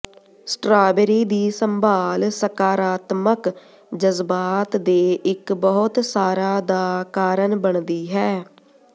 strawberry ਦੀ ਸੰਭਾਲ ਸਕਾਰਾਤਮਕ ਜਜ਼ਬਾਤ ਦੇ ਇੱਕ ਬਹੁਤ ਸਾਰਾ ਦਾ ਕਾਰਨ ਬਣਦੀ ਹੈ